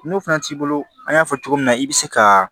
N'o fana t'i bolo an y'a fɔ cogo min na i bi se ka